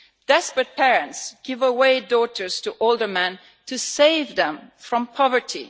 Desperate parents give away daughters to older men to save them from poverty.